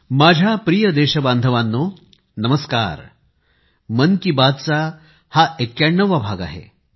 माझ्या प्रिय देशबांधवांनो नमस्कार मन की बात चा हा 91 वा भाग आहे